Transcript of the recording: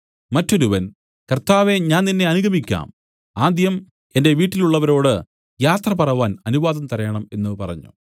മറ്റൊരുവൻ കർത്താവേ ഞാൻ നിന്നെ അനുഗമിക്കാം ആദ്യം എന്റെ വീട്ടിലുള്ളവരോട് യാത്ര പറവാൻ അനുവാദം തരേണം എന്നു പറഞ്ഞു